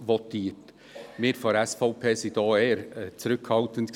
Wir von der SVP waren in dieser Debatte eher zurückhaltend.